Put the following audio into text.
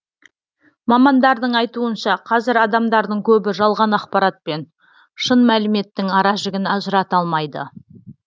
мамандардың айтуынша қазір адамдардың көбі жалған ақпарат пен шын мәліметтің аражігін ажырата алмайды